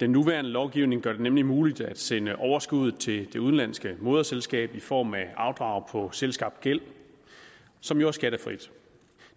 den nuværende lovgivning gør det nemlig muligt at sende overskuddet til det udenlandske moderselskab i form af afdrag på selvskabt gæld som jo er skattefri